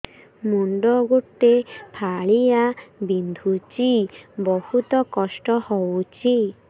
ମୁଣ୍ଡ ଗୋଟେ ଫାଳିଆ ବିନ୍ଧୁଚି ବହୁତ କଷ୍ଟ ହଉଚି